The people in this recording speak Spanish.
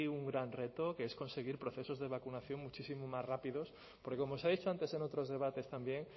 un gran reto que es conseguir procesos de vacunación muchísimo más rápidos porque como se ha dicho antes en otros debates también